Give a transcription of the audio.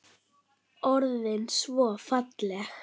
Geir horfði á Stjána.